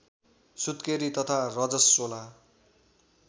सुत्केरी तथा रजश्वला